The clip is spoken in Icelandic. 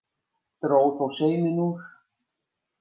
Dró þó sauminn úr.